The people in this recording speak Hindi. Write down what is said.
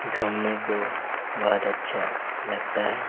घूमने को बहुत अच्छा लगता है।